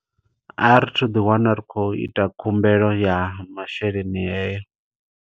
A ri thu ḓi wana ri khou ita khumbelo ya masheleni heyo.